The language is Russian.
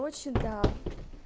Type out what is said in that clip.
очень да